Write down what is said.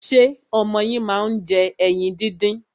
Ṣé ọmọ yín máa ń jẹ ẹyin díndín?